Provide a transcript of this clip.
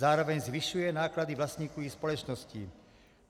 Zároveň zvyšuje náklady vlastníků i společnosti.